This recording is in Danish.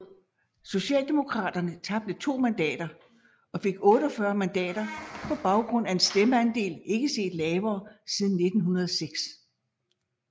Socialdemokraterne tabte 2 mandater og fik 45 mandater på baggrund af en stemmeandel ikke set lavere siden 1906